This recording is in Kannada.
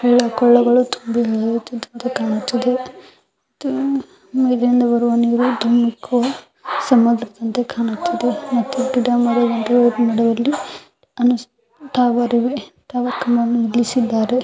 ಹಳ್ಳ ಕೊಳ್ಳಗಳು ತುಂಬಿ ಹರಿತ್ತಿದಂಗೆ ಕಾಣುತ್ತದೆ ಇಲ್ಲಿಂದ ಬರುವ ನೀರು ದೋಮುಕ್ಕೊ ಸಮುದ್ರದಂತೆ ಕಾಣುತ್ತದೆ ಮತ್ತು ಗಿಡ ಮರ ನಡೆಯುವಳ್ಳಿ ಬರುವೆ ]